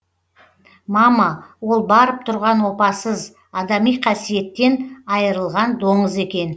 мама ол барып тұрған опасыз адами қасиеттен айырылған доңыз екен